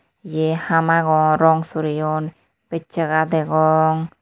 Ye haam agon rong soreyon becchaga degong.